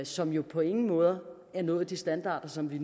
som jo på ingen måde har nået de standarder som vi